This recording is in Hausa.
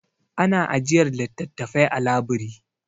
Ana ajiyar littattafai a labiri.